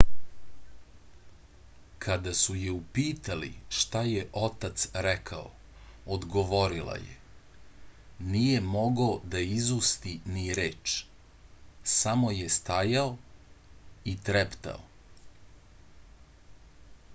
kada su je upitali šta je otac rekao odgovorila je nije mogao da izusti ni reč samo je stajao i treptao